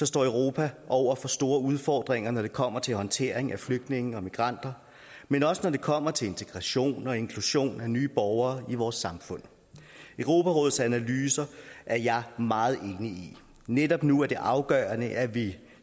står europa over for store udfordringer når det kommer til håndtering af flygtninge og migranter men også når det kommer til integration og inklusion af nye borgere i vores samfund europarådets analyser er jeg meget enig i netop nu er det afgørende at vi